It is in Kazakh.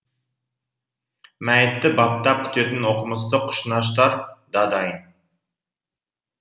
мәйітті баптап күтетін оқымысты құшнаштар да дайын